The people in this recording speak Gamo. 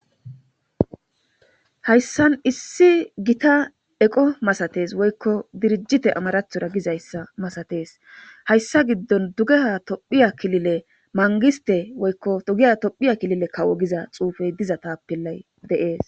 hayssan issi gita eqo masates woykko dirijite amarathora gizayssa masatees hayssa giddon dugeha tophiya kilile mangiste woykko dugeya tophiya kilile kawo giza xuufey diza taappillay deees